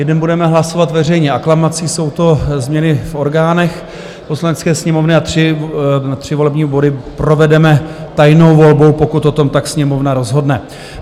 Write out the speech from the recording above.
Jeden budeme hlasovat veřejně aklamací - jsou to změny v orgánech Poslanecké sněmovny - a tři volební body provedeme tajnou volbou, pokud o tom tak Sněmovna rozhodne.